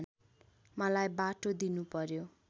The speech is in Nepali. मलाई बाटो दिनुपर्‍यो